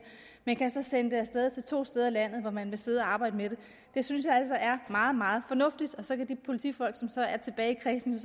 men kan så sende det af sted til to steder i landet hvor man vil sidde og arbejde med det det synes jeg altså er meget meget fornuftigt så kan de politifolk som så er tilbage i kredsene